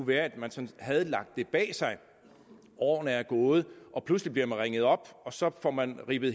være at man sådan havde lagt det bag sig årene er gået og pludselig bliver man ringet op og så får man rippet